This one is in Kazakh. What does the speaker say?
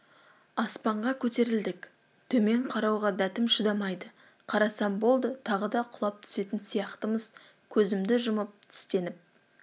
аспанға көтерілдік төмен қарауға дәтім шыдамайды қарасам болды тағы да құлап түсетін сияқтымыз көзімді жұмып тістеніп